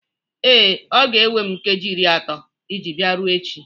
Ee, ọ ga-ewe m nkeji iri atọ iji bia ruo echi.